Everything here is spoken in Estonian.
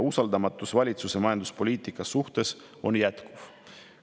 Usaldamatus valitsuse majanduspoliitika suhtes on jätkuv.